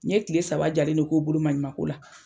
N ye kile saba jalen de k'u bolo maɲuma ko la .